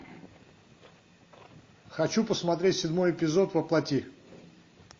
хочу посмотреть седьмой эпизод во плоти